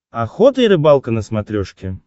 охота и рыбалка на смотрешке